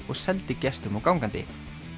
og seldi gestum og gangandi